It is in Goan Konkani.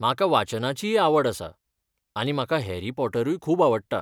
म्हाका वाचनाचीय आवड आसा आनी म्हाका हॅरी पॉटरूय खूब आवडटा.